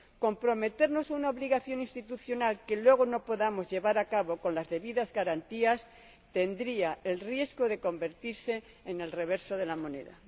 Comprometernos a una obligación institucional que luego no podamos llevar a cabo con las debidas garantías tendría el riesgo de convertirse en el reverso de la moneda.